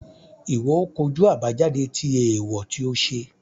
Iwọ o kojú àbájáde tí eewọ ti o ṣe